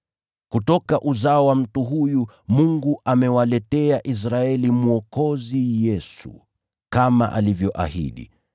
“Kutoka uzao wa mtu huyu, Mungu amewaletea Israeli Mwokozi Yesu, kama alivyoahidi.